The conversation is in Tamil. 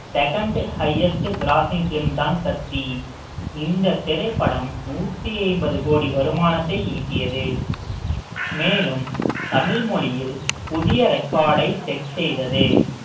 second highest grossing film தான் கத்தி இந்தத் திரைப்படம் நூத்தி ஐம்பது கோடி வருமானத்தை ஈட்டியது மேலும் தமிழ் மொழியில் புதிய record ஐ set செய்தது